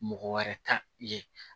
Mɔgɔ wɛrɛ ta ye